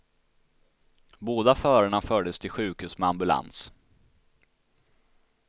Båda förarna fördes till sjukhus med ambulans.